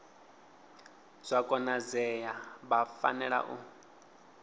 zwa konadzea vha fanela u